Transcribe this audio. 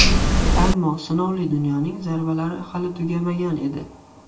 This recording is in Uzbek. Ammo sinovli dunyoning zarbalari hali tugamagan edi.